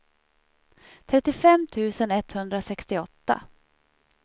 trettiofem tusen etthundrasextioåtta